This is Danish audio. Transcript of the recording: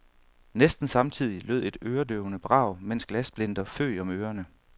Næsten samtidig lød et øredøvende brag, mens glassplinter føg om ørerne.